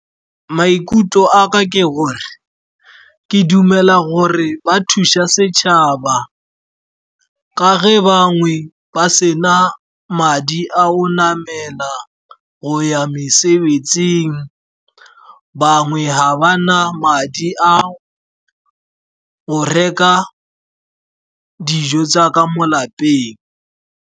Maikutlo a ka ke gore, ke dumela gore ba thusa setšhaba ka ge bangwe ba sena madi a go namela go ya mesebetsing, bangwe ga ba na madi a go reka dijo tsa ka mo lapeng.